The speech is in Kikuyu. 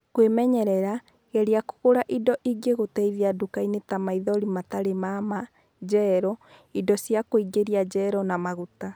Kwĩmenyerera:geria kũgũra indo ingĩgũteithia nduka-inĩ ta maithori matarĩ ma ma, gel, indo cia kũingĩria gel na maguta.